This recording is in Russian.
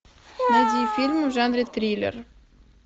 найди фильм в жанре триллер